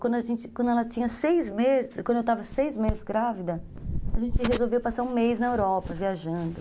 Quando a gente, quando ela tinha seis meses, quando eu estava seis meses grávida, a gente resolveu passar um mês na Europa, viajando.